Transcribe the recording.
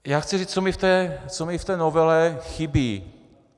Já chci říct, co mi v té novele chybí.